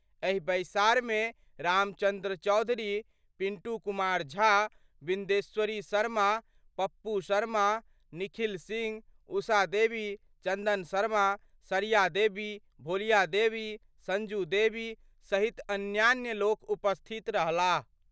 एहि बैसार मे रामचंद्र चौधरी, पिंटू कुमार झा, विदेश्वरी शर्मा, पप्पू शर्मा, निखिल सिंह, उषा देवी, चंदन शर्मा, सरिया देवी, भोलिया देवी, संजू देवी सहित अन्यान्य लोक उपस्थित रहलाह।